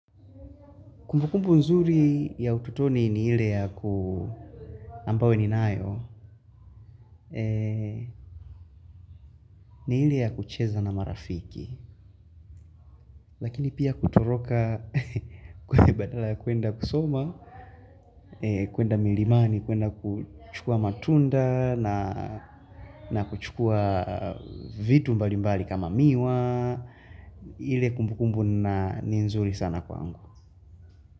Kumbukumbu nzuri ya utotoni ni ile ya ku ambayo ninayo, ni ile ya kucheza na marafiki. Lakini pia kutoroka kwa badala ya kwenda kusoma, kwenda milimani, kwenda kuchukua matunda na kuchukua vitu mbali mbali kama miwa. Ile kumbukumbu ni nzuri sana kwangu.